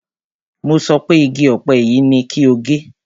Mo sọ pé igi ọ̀pẹ yìí ni kí o gé!